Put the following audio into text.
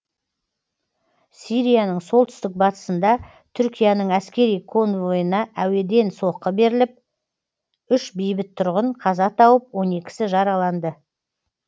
сирияның солтүстік батысында түркияның әскери конвойына әуеден соққы беріліп үш бейбіт тұрғын қаза тауып он екісі жараланды